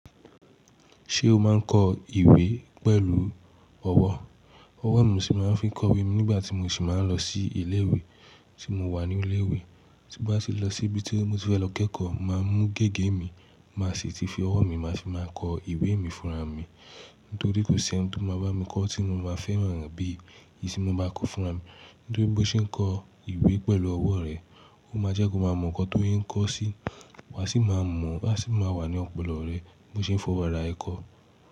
Ṣé o máa ń kọ ìwé pẹ̀lú ọwọ́? Ọwọ́ ni mo sì máa ń fi kọ ìwé mi nígbà tí mo sì máa ń lọ sí ilé ìwé tí mo wà ní ilé ìwé. Ti n bá ti lọ sí ibi tí mo ti fẹ lọ kẹ́kọ̀ọ́, máa mú gègé mi, máa sì ti fi ọwọ́ mi, màá fi máa kọ ìwé mi fúnra mi. Nítorí kò sí ẹni tí ó máa bá mi kọ tí mo máa fẹ́ràn re bí ìṣí mo bá kọ fúnra mi. Nítorí bó ṣe ń kọ ìwé pẹ̀lú ọwọ́ rẹ, ó máa jẹ́ kó máa mọ nǹkan tó yẹ n kó sí, wá sì máa mọ̀, á sì máa wà ní ọ̀pọ̀lọpọ̀ rẹ bó ṣe ń fọwọ́ ara re kọ.